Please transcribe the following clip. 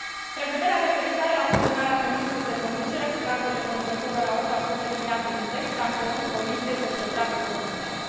Prevederea referitoare la fuzionarea permiselor de conducere cu cardurile conducătorilor auto a fost eliminată din text și am cerut Comisiei să își retragă propunerea.